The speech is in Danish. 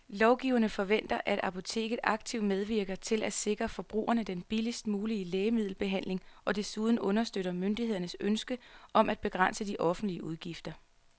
Lovgiverne forventer, at apoteket aktivt medvirker til at sikre forbrugerne den billigst mulige lægemiddelbehandling og desuden understøtter myndighedernes ønske om at begrænse de offentlige udgifter.